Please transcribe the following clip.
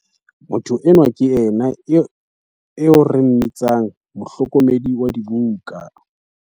Motho enwa ke yena eo re mmitsang mohlokomedi wa dibuka.